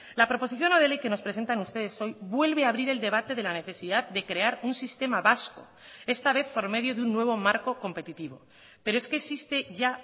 la proposición no de ley que nos presentan ustedes hoy vuelve a abrir el debate de la necesidad de crear un sistema vasco esta vez por medio de un nuevo marco competitivo pero es que existe ya